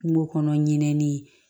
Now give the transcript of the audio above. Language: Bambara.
Kungo kɔnɔ ɲinɛnin